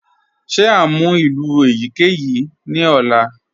Ṣe à ǹ mú ilù eyikeyi ni ọ̀là?